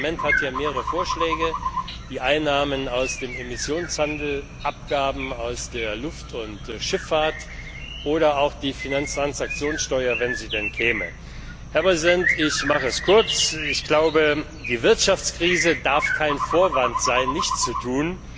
Das Parlament hat hier mehrere Vorschläge die Einnahmen aus dem Emissionshandel, Abgaben aus der Luft und Schifffahrt oder auch die Finanztransaktionssteuer, wenn sie denn käme. Ich mache es kurz Die Wirtschaftskrise darf kein Vorwand sein, nichts zu